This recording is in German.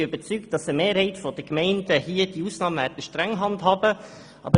Ich bin überzeugt, dass eine Mehrheit der Gemeinden diese Ausnahmeregelung streng handhaben wird.